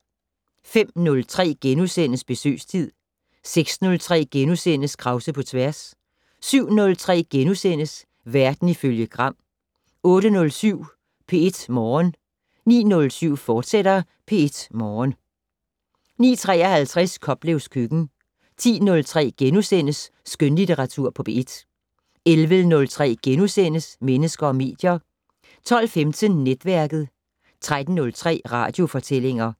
05:03: Besøgstid * 06:03: Krause på tværs * 07:03: Verden ifølge Gram * 08:07: P1 Morgen 09:07: P1 Morgen, fortsat 09:53: Koplevs køkken 10:03: Skønlitteratur på P1 * 11:03: Mennesker og medier * 12:15: Netværket 13:03: Radiofortællinger